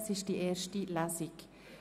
Es ist die erste Lesung.